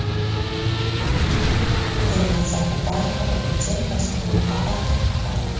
Dilnoza Kubayeva birinchi va so‘nggi muhabbati haqida.